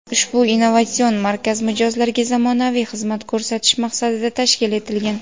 ushbu innovatsion markaz mijozlarga zamonaviy xizmat ko‘rsatish maqsadida tashkil etilgan.